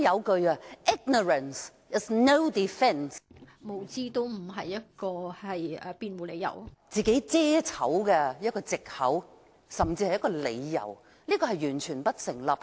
局長不能以無知作為為自己遮醜的藉口、甚至理由，這完全不成立。